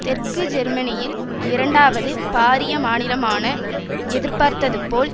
தெற்கு ஜெர்மனியில் இரண்டாவது பாரிய மாநிலமான எதிர்பார்த்தது போல்